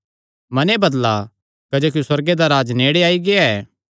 मने बदला क्जोकि सुअर्गे दा राज्ज नेड़े आई गेआ ऐ